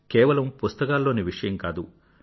కేవలం పుస్తకాల్లోని విషయం కాదు